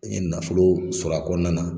N ye nafolo sɔrɔ a kɔnɔna na